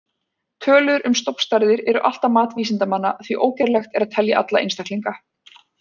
Tölur um stofnstærðir eru alltaf mat vísindamanna því ógerlegt er að telja alla einstaklinga.